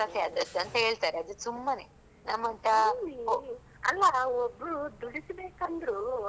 ಇಲ್ಲೀ ಅಲ್ಲಾ ಒಬ್ರೂ ದುಡಿಸಬೇಕಂದ್ರೂ ಅವ್ರಿಗೆ ದುಡಿಮೆ ಮಾಡಿದವರಿಗೆ ಹಣ ಕೋಡ್ಬೇಕಲ್ಲಾ?